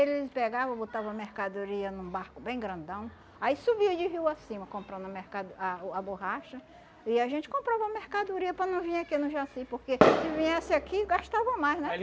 Eles pegavam, botavam a mercadoria num barco bem grandão, aí subiam de rio acima comprando a mercado ah uh a borracha, e a gente comprava a mercadoria para não vir aqui no Jaci, porque se viesse aqui, gastava mais, né?